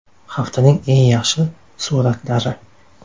Haftaning eng yaxshi suratlari.